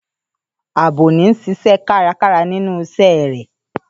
Ààbò ń ṣiṣẹ́ kárakára nínú iṣẹ́ rẹ̀.